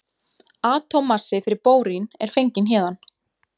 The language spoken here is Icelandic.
Atómmassi fyrir bórín er fenginn héðan.